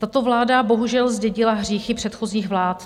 Tato vláda bohužel zdědila hříchy předchozích vlád.